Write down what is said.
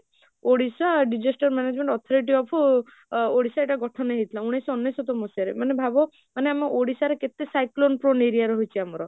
Odisha disaster management authority of Odisha ଏଟା ଗଠନ ହେଇଥିଲା ଉଣେଇସହ ଅନେଶତ ମସିହାରେ ମାନେ ଭାବ ମାନେ ଆମେ ଓଡ଼ିଶାର କେତେ cyclone prone area ରେ ରହୁଛି ଆମର